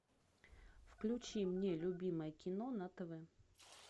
включи мне любимое кино на тв